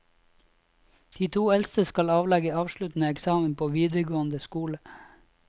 De to eldste skal avlegge avsluttende eksamen på videregående skole.